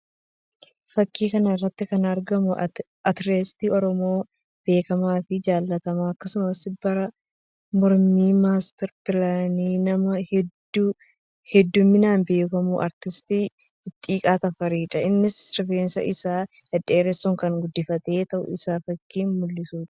Fakkii kana irratti kan argamu aartistii Oromoo beekamaa fi jaallatamaa akkasumas bara mormii master pilaanii nama heddjminaan beekamu aartist Ittiiqaa Tafarii dha. Innis rifeensa isaa dhedheeressuun kan guddifatu ta'uu isaa fakkii mul'isuu dha.